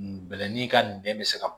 Bɛlɛnin ka nin bɛn bɛ se ka